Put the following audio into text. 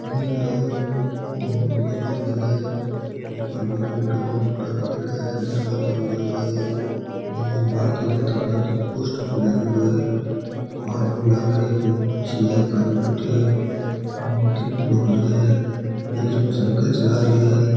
महल है ओ और और बढ़ो महल है ऊपर बे कुण्ठा कुण्ठा लगायोडा है दरवाजो लगायोड़ो है और भर्ती जनता पार्टी को पोस्टर भी लाग्योडो है आदमी लाग रिया है कोई मोची है बैठ्यो है और टेम्पोंड़ो खड़यो है एक जनो साइकिल चला रियो है।